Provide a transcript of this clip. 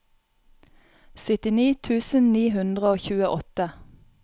syttini tusen ni hundre og tjueåtte